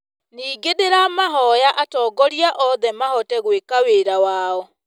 Ningĩ nĩndĩramahoya atongoria othe mahote gwĩka wĩra wao.